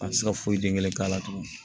An ti se ka foyi den kelen k'a la tugun